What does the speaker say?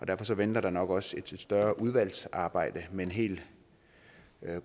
derfor venter der nok også et større udvalgsarbejde men helt